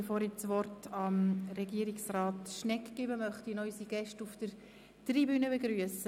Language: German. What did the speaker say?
Bevor ich das Wort dem Regierungsrat übergebe, möchte ich noch unsere Gäste auf der Tribüne begrüssen.